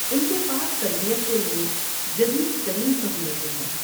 ان کے پاس تربیت کے لیے جدید ترین سہولتیں ہیں۔